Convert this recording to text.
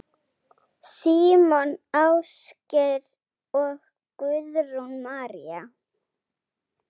Símon Ásgeir og Guðrún María.